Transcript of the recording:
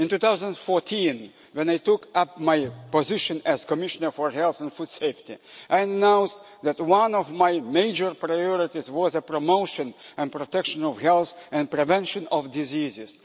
In 2014, when I took up my position as Commissioner for Health and Food Safety, I announced that one of my major priorities was the promotion and protection of health and the prevention of diseases.